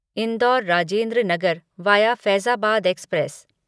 indoor Rajendra Nagar via Faizabad express